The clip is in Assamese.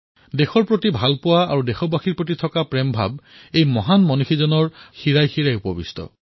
দেশৰ প্ৰতি প্ৰেম আৰু দেশবাসীৰ প্ৰতি প্ৰেমৰ এই ভাৱনা সৰু কান্ধৰ সেই মহামানৱৰ শিৰাই শিৰাই বৈ আছিল